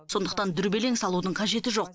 сондықтан дүрбелең салудың қажеті жоқ